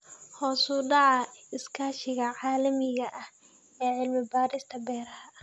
Hoos u dhaca iskaashiga caalamiga ah ee cilmi-baarista beeraha.